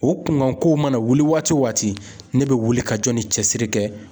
O kunkanko mana wuli waati o waati ne bɛ wuli ka jɔni cɛ siri kɛ.